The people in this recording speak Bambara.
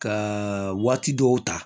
Ka waati dɔw ta